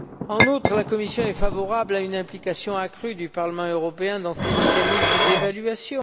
En outre, la Commission est favorable à une implication accrue du Parlement européen dans ses mécanismes d'évaluation.